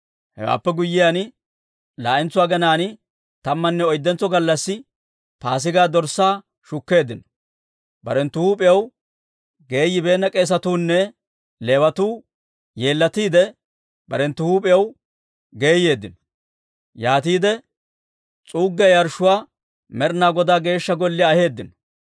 Hewaappe guyyiyaan, laa'entso aginaan, tammanne oyddentso gallassi Paasigaa dorssaa shukkeeddino. Barenttu huup'iyaw geeyibeenna k'eesatuu nne Leewatuu yeellatiide, barenttu huup'iyaw geeyeeddino; yaatiide s'uuggiyaa yarshshuwaa Med'inaa Godaa Geeshsha Golliyaa aheeddino.